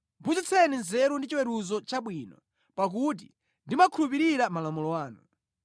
Phunzitseni nzeru ndi chiweruzo chabwino, pakuti ndimakhulupirira malamulo anu.